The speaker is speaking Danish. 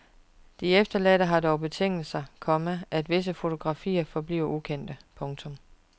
De efterladte har dog betinget sig, komma at visse fotografier forbliver ukendte. punktum